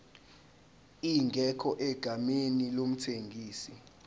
ingekho egameni lomthengisi